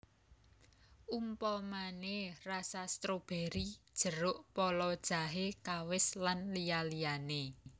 Umpamané rasa strobéry jeruk pala jahe kawis lan liya liyané